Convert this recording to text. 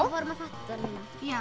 vorum að fatta þetta núna